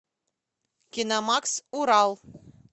киномакс урал